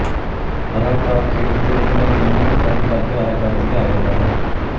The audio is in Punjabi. ਹਰਾ ਕਾਰਡ ਖੇਡ ਦੇ ਨਿਯਮਾਂ ਦੀ ਉਲੰਘਣਾ ਕਰਨ ਕਰਕੇ ਹਰਾ ਕਾਰਡ ਦਿਖਾਇਆ ਜਾਂਦਾ ਹੈ